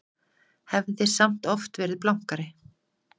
Hafði samt oft verið blankari.